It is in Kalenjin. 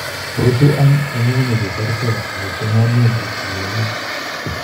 " Rutu any en ng'ung'unyek cheterterch kong'eten ng'ainet ak ptilialit.